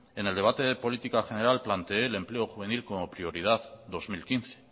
en el debate de política general planteé el empleo juvenil como prioridad dos mil quince